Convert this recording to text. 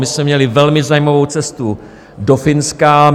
My jsme měli velmi zajímavou cestu do Finska.